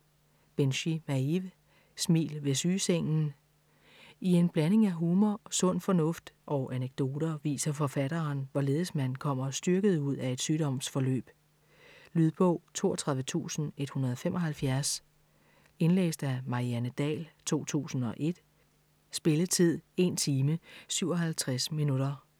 Binchy, Maeve: Smil ved sygesengen I en blanding af humor, sund fornuft og anekdoter viser forfatteren hvorledes man kommer styrket ud af et sygdomsforløb. Lydbog 32175 Indlæst af Marianne Dahl, 2001. Spilletid: 1 timer, 57 minutter.